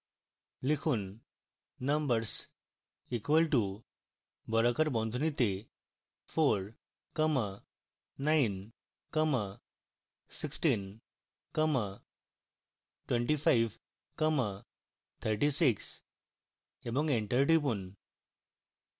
লিখুন numbers equal to বর্গাকার বন্ধনীতে 49162536 এবং enter টিপুন